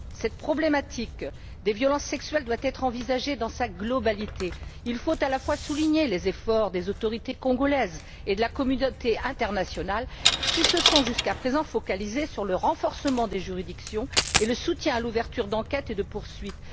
Cette problématique des violences sexuelles doit être envisagée dans sa globalité il faut insister sur les efforts des autorités congolaises et de la communauté internationale, qui se sont jusqu'à présent concentrés sur le renforcement des juridictions et le soutien à l'ouverture d'enquêtes et de poursuites.